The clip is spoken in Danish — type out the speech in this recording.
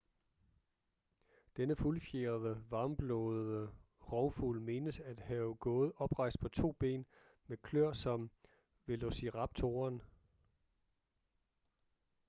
denne fuldfjerede varmblodede rovfugl menes at have gået oprejst på to ben med kløer som velociraptoren